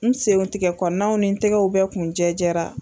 N sentigɛ kɔnɔnaw ni tɛgɛw bɛ kun jɛ jɛra.